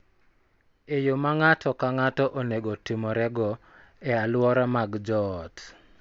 E yo ma ng�ato ka ng�ato onego otimorego e alwora mag joot,